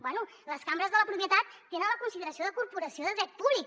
bé les cambres de la propietat tenen la consideració de corporació de dret públic